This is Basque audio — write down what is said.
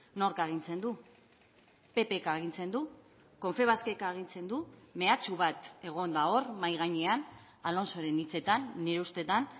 nork agintzen du ppk agintzen du confebaskek agintzen du mehatxu bat egon da hor mahai gainean alonsoren hitzetan nire ustetan